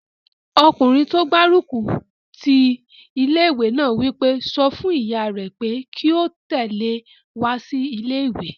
Ọkùnrin tó gbárùkù ti ilé-ìwé náà wí pé, "sọ fún ìyá rẹ pé kí ó tẹ̀lé ọ wá sí ilé-ìwé!"